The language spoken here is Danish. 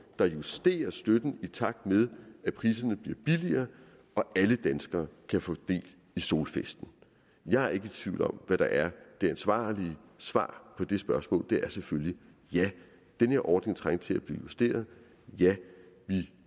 der justerer støtten i takt med at priserne bliver billigere og alle danskere kan få del i solfesten jeg er ikke i tvivl om hvad der er det ansvarlige svar på det spørgsmål det er selvfølgelig ja den her ordning trængte til at blive justeret ja vi